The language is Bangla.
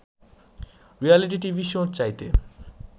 রিয়েলিটি টিভি শোর চাইতে